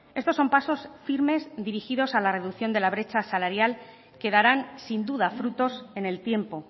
estos son pasos firmes dirigidos a la reducción de la brecha salarial que darán sin duda frutos en el tiempo